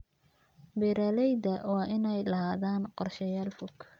Beeralayda waa inay lahaadaan qorshayaal fog.